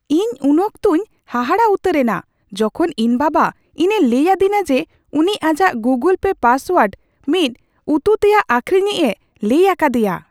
ᱤᱧ ᱩᱱ ᱚᱠᱛᱚᱧ ᱦᱟᱦᱟᱲᱟ ᱩᱛᱟᱹᱨ ᱮᱱᱟ ᱡᱚᱠᱷᱚᱱ ᱤᱧ ᱵᱟᱵᱟ ᱤᱧ ᱮ ᱞᱟᱹᱭ ᱟᱹᱫᱤᱧᱟ ᱡᱮ ᱩᱱᱤ ᱟᱡᱟᱜ ᱜᱩᱜᱩᱞ ᱯᱮ ᱯᱟᱥᱳᱣᱟᱨᱰ ᱢᱤᱫ ᱩᱛᱩᱛᱮᱭᱟᱜ ᱟᱠᱷᱨᱤᱧᱤᱡᱼᱮ ᱞᱟᱹᱭ ᱟᱠᱟᱫᱮᱭᱟ ᱾